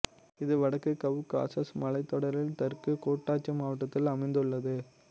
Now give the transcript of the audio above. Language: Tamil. இது வடக்கு கவ்காசஸ் மலைத்தொடரில் தெற்கு கூட்டாட்சி மாவட்டத்தில் அமைந்துள்ளது